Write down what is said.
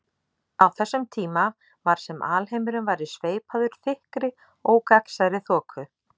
Á þessum tíma var sem alheimurinn væri sveipaður þykkri ógagnsærri þoku.